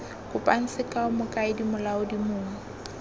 kopang sekao mokaedi molaodi mong